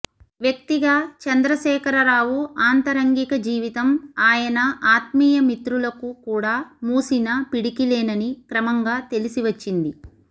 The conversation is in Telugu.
వ్యక్తిగా చంద్రశేఖరరావు ఆంతరంగిక జీవితం ఆయన ఆత్మీయ మిత్రులకు కూడా మూసిన పిడికిలేనని క్రమంగా తెలిసివచ్చింది